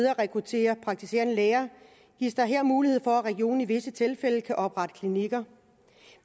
at rekruttere praktiserende læger gives der her mulighed for at regionerne i visse tilfælde kan oprette klinikker